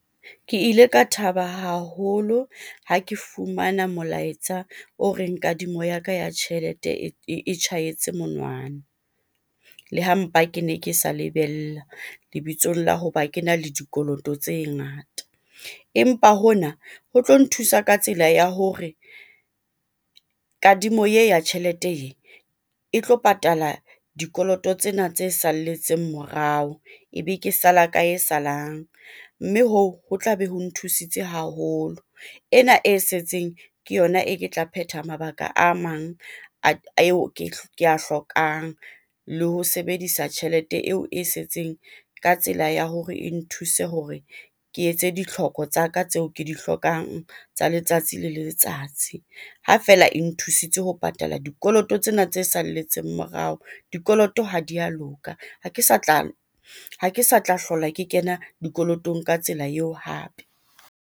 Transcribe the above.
Ke ile ka thaba haholo ha ke fumana molaetsa o reng kadimo ya ka ya tjhelete e tjhahetse monwana. Le ha mpa kene ke sa lebella lebitsong la hoba kena le dikoloto tse ngata. Empa hona ho tlo nthusa ka tsela ya hore kadimo ye ya tjhelete ee, e tlo patala dikoloto tsena tse salletseng morao ebe ke sala ka e salang. Mme hoo, ho tla be ho nthusitse haholo. Ena e setseng ke yona e ke tla phetha mabaka a mang ke a hlokang le ho sebedisa tjhelete eo e setseng ka tsela ya hore e nthuse hore ke etse ditlhoko tsa ka tseo ke di hlokang tsa letsatsi le letsatsi. Ha feela e nthusitse ho patala dikoloto tsena tse salletseng morao, dikoloto ha di a loka. Ha ke sa tla hlola ke kena dikolotong ka tsela eo hape.